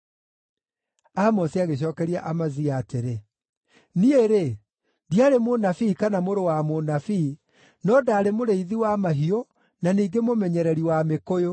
Amosi agĩcookeria Amazia atĩrĩ, “Niĩ-rĩ, ndiarĩ mũnabii kana mũrũ wa mũnabii, no ndaarĩ mũrĩithi wa mahiũ na ningĩ mũmenyereri wa mĩkũyũ.